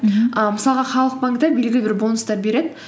мхм і мысалға халық банкте белгілі бір бонустар береді